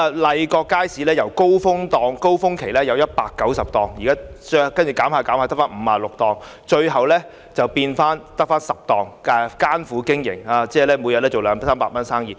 麗閣街市由高峰期有190個商戶逐漸減至56個商戶，最後只餘下10個商戶艱苦經營，每天只有二三百元生意。